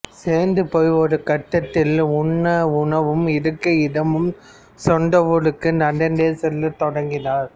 சோர்ந்து போய் ஒரு கட்டத்தில் உண்ண உணவும் இருக்க இடமும் சொந்த ஊருக்கு நடந்தே செல்ல தொடங்கினார்